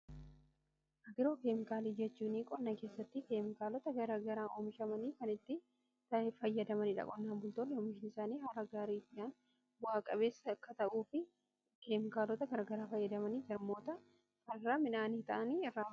Aagiroo keemkaala jechuun qonna keessatti keemikaalota garagaraa oomishamanii kan itti fayyadamaniidha. Qonnaan bultoonni oomishni isaanii haala gaariidhaan bu'aa qabeessa akka ta'uu fi keemikaalota garagaraa fayyadamanii jarmoota farraa midhaanii ta'anii.